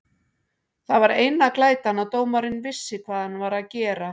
Það var eina glætan að dómarinn vissi hvað hann var að gera.